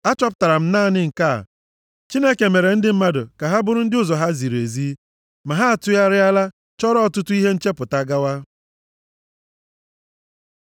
Achọpụtara m naanị nke a, Chineke mere ndị mmadụ ka ha bụrụ ndị ụzọ ha ziri ezi, ma ha atụgharịala chọrọ ọtụtụ ihe nchepụta gawa.”